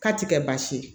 K'a ti kɛ baasi ye